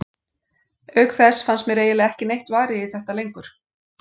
Auk þess fannst mér eiginlega ekki neitt varið í þetta lengur.